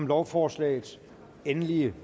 lovforslaget enige